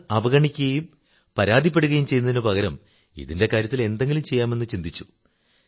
അത് അവഗണിക്കുകയും പരാതിപ്പെടുകയും ചെയ്യുന്നതിനു പകരം ഇതിന്റെ കാര്യത്തിൽ എന്തെങ്കിലും ചെയ്യാമെന്നു ചിന്തിച്ചു